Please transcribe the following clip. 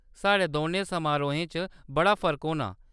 साढ़े दौनें समारोहें च बड़ा फर्क होना।